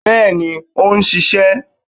Bẹ́ẹ̀ni ó n sisé